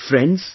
Friends,